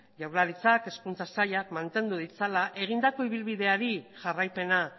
jaurlaritzak hezkuntza saila mantendu ditzala egindako ibilbideari jarraipena